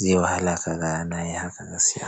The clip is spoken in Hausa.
zai wahala kaga na yi haka gaskiya.